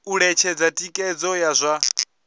u ṅetshedza thikhedzo ya zwa